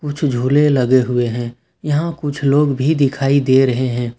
कुछ झूले लगे हुए हैं यहां कुछ लोग भी दिखाई दे रहे हैं।